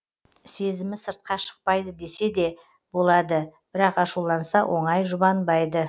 сезімі сыртқа шықпайды десе де болады бірақ ашуланса оңай жұбанбайды